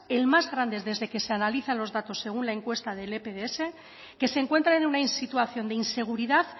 el más grande desde que se analizan los datos según la encuesta del epds que se encuentra en una situación de inseguridad